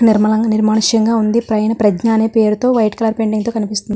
నిర్మలంగా నిర్మానుషంగా వుంది. పైన ప్రజ్ఞ అనే పేరు తో వైట్ కలర్ పెయింట్ తో కనిపిస్తుంది.